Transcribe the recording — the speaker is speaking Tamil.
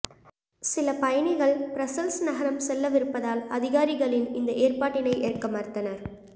சில பயணிகள் பிரஸ்ஸல்ஸ் நகரம் செல்லவிருப்பதால் அதிகாரிகளின் இந்த ஏற்பாட்டினை ஏற்க மறுத்தனர்